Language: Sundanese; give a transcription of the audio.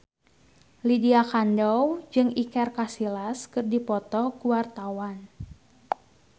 Lydia Kandou jeung Iker Casillas keur dipoto ku wartawan